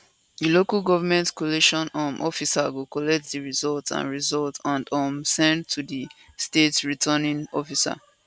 di local government collation um officer go collate di results and results and um send to di state returning officer